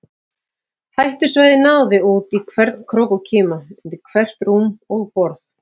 Hættusvæðið náði út í hvern krók og kima, undir hvert rúm og borð.